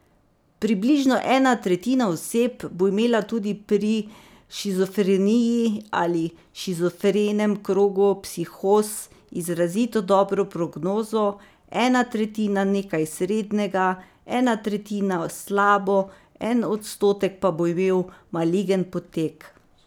Približno ena tretjina oseb bo imela tudi pri shizofreniji ali shizofrenem krogu psihoz izrazito dobro prognozo, ena tretjina nekaj srednjega, ena tretjina slabo, en odstotek pa bo imel maligen potek.